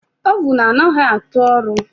Ovun anaghị atụ ọrụ